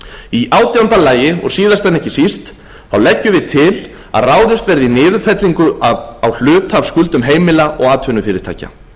í átjánda lagi og síðast en ekki síst leggjum við til að ráðist verði í niðurfellingu á hluta af skuldum heimila og atvinnufyrirtækja